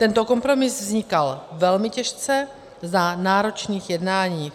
Tento kompromis vznikal velmi těžce za náročných jednání.